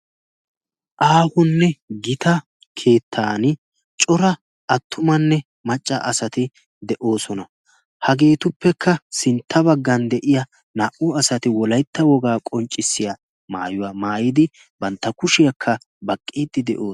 aahonne gita keettan cora attumanne macca asati de7oosona hageetuppekka sintta baggan de7iya naa77u asati wolaitta wogaa qonccissiya maayuwaa maayidi bantta kushiyaakka baqqiixxi de7oo